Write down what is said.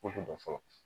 Ko dɔn fɔlɔ